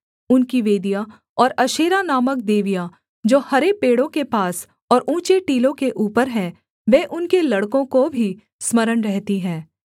उनकी वेदियाँ और अशेरा नामक देवियाँ जो हरे पेड़ों के पास और ऊँचे टीलों के ऊपर हैं वे उनके लड़कों को भी स्मरण रहती हैं